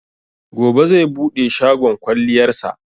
Gobe zai buɗe shagon kwalliyar sa